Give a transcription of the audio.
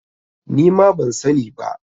Nima ban sani ba